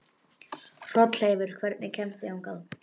Hrolleifur, hvernig kemst ég þangað?